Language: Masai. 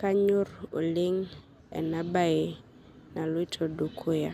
kanyorr oleng' enabaye naloito dukuya.